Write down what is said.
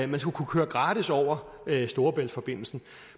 man skulle kunne køre gratis over storebæltsforbindelsen